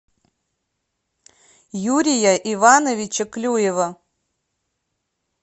юрия ивановича клюева